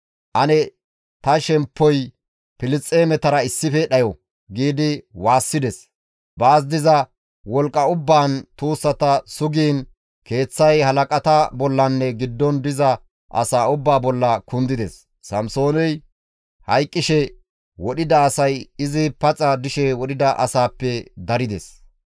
«Ane ta shemppoy Filisxeemetara issife dhayo!» giidi waassides; baas diza wolqqa ubbaan tuussata sugiin keeththay halaqata bollanne giddon diza asaa ubbaa bolla kundides. Samsooney hayqqishe wodhida asay izi paxa dishe wodhida asaappe darides.